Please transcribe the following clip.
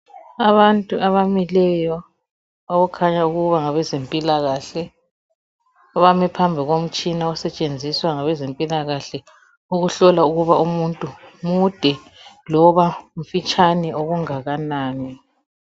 Abantu abamileyo okukhanya ukuba ngabe zempilakahle abame phambi komtshina osetshenziswa ngabezempilakahle ukuhlola ukuba umuntu mude loba mfitshane okungakanani.